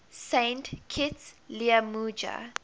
saint kitts liamuiga